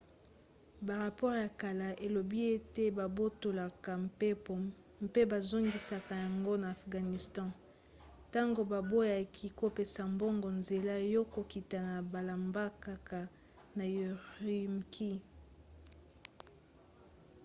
barapore ya kala elobi ete babotolaka mpepo mpe bazongisaka yango na afghanistan ntango baboyaki kopesa bango nzela ya kokita na mbalakaka na ürümqi